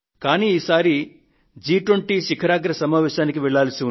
కానీ ఈసారి జి 20 శిఖరాగ్ర సమావేశానికి వెళ్లవలసి ఉంది